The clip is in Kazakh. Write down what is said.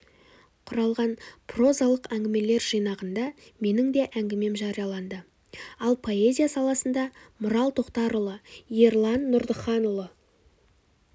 құралған прозалық әңгімелер жинағында менің де әңгімем жарияланды ал поэзия саласында мұрал тоқтарұлы ерлан нұрдыханұлы